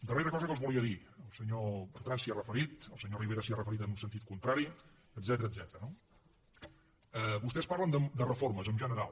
darrera cosa que els volia dir el senyor bertran s’hi ha referit el senyor rivera s’hi ha referit en un sentit contrari etcètera no vostès parlen de reformes en general